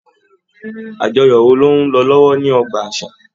Àjọyọ̀ wò ló n lọ lọwọ ní ọgbà àṣà.